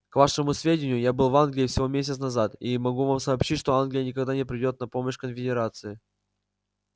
к вашему сведению я был в англии всего месяц назад и могу вам сообщить что англия никогда не придёт на помощь конфедерации